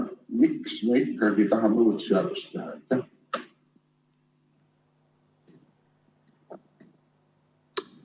Miks me ikkagi tahame uut seadust teha?